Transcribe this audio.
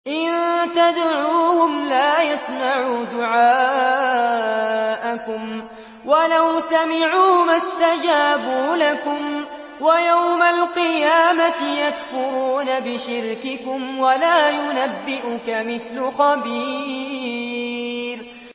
إِن تَدْعُوهُمْ لَا يَسْمَعُوا دُعَاءَكُمْ وَلَوْ سَمِعُوا مَا اسْتَجَابُوا لَكُمْ ۖ وَيَوْمَ الْقِيَامَةِ يَكْفُرُونَ بِشِرْكِكُمْ ۚ وَلَا يُنَبِّئُكَ مِثْلُ خَبِيرٍ